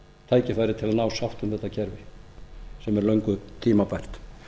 tækifæri til að ná sátt um þetta kerfi sem er löngu tímabært